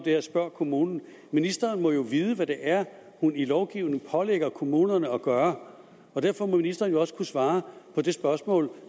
her spørg kommunen ministeren må jo vide hvad det er hun i lovgivningen pålægger kommunerne at gøre og derfor må ministeren jo også kunne svare på det spørgsmål